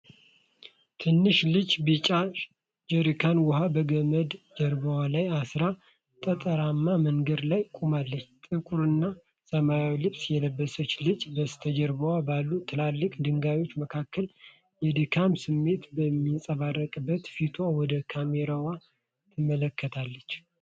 ትንሽ ልጅ ቢጫ ጀሪካን ውሃ በገመድ ጀርባዋ ላይ አሥራ፣ ጠጠራማ መንገድ ላይ ቆማለች። ጥቁርና ሰማያዊ ልብስ የለበሰችው ልጅ፣ በስተጀርባ ባሉ ትላልቅ ድንጋዮች መካከል፣ የድካም ስሜት በሚንጸባረቅበት ፊቷ ወደ ካሜራው ትመለከታለች።